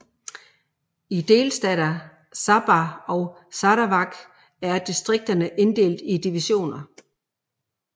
I delstater Sabah og Sarawak er distrikterne inddelte i divisioner